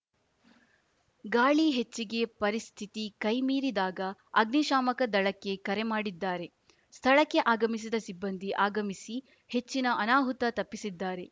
ಗಾಳಿ ಹೆಚ್ಚಿಗಿ ಪರಸ್ಥಿತಿ ಕೈ ಮೀರಿದಾಗ ಅಗ್ನಿಶಾಮಕ ದಳಕ್ಕೆ ಕರೆ ಮಾಡಿದ್ದಾರೆ ಸ್ಥಳಕ್ಕೆ ಆಗಮಿಸಿದ ಸಿಬ್ಬಂದಿ ಆಗಮಿಸಿ ಹೆಚ್ಚಿನ ಅನಾಹುತ ತಪ್ಪಿಸಿದ್ದಾರೆ